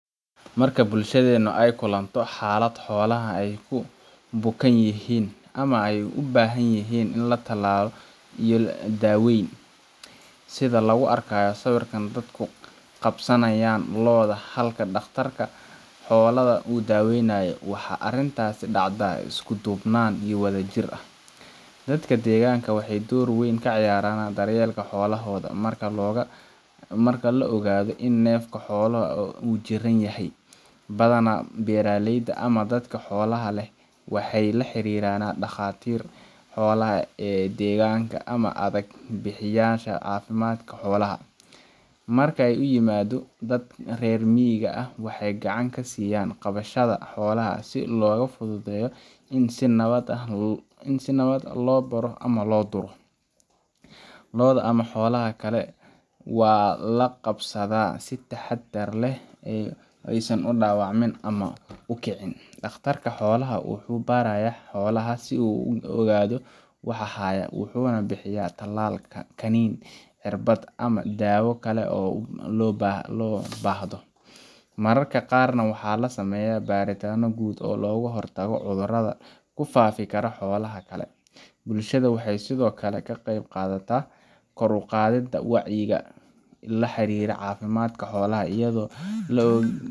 Marka bulshadhenu ayy kulanto xalad xolaha ayy kubukanyihin ama ey ubahanyihin in latalalo iyo daweyn sidha laguarkayo sawirka dadku qabsanayan loada halka daqtarka xoladha uu daweynya waxey arintasii dacdaa iskudubnan iyo wadhajir ahh, dadka deganka waxey dor weyn kacayaran daryelka xolahodha marka laogadho in nefka xoalaha uu jiran yahay, badhana beraleyda ama dadka xolaha leh waxey laxiriran daqatir xolaha ee deganka ama adag bixiyasha cafimatka xoalaha, markey uimado dad rer mig ahh waxey gacan kasiayan qabashadha xolaha si loga fudhudheyo in si nabad ahh loduro, looda ama xolaha kale walaqabsadha si taxadar leh eyy udawacmin ama ukicin, daqtarka xolaha wuxu baraya xolaha sii uu uogadho waxa hayo wuxuna bihiya talalka, kininka, cerbad ama dawa kala oo lobahdo, mararka qarna waxa lasameya baritana gud oo logahortago cudhuradha kufafi kala holaha kalee, bulshadha waxey sdhkle kaqeyb qadhataa kor uqadhinta wacyiga laxiriri cafimadka xolaha ayadho laogan.